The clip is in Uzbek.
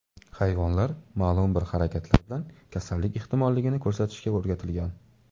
Hayvonlar ma’lum bir harakatlar bilan kasallik ehtimolligini ko‘rsatishga o‘rgatilgan.